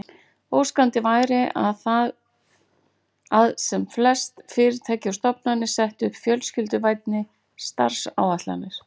Óskandi væri að sem flest fyrirtæki og stofnanir settu upp fjölskylduvænni starfsáætlanir.